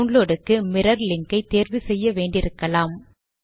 downloadக்கு mirror link ஐ தேர்வு செய்ய வேண்டி இருக்கலாம்